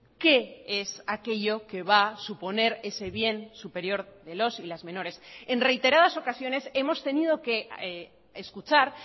qué es aquello que va a suponer ese bien superior de los y las menores en reiteradas ocasiones hemos tenido que escuchar